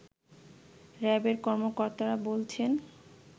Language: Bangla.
র‍্যাব-এর কর্মকর্তারা বলছেন